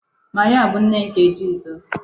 Maria bụ nne nke Jizọs.